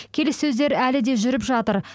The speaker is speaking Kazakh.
келіссөздер әлі де жүріп жатыр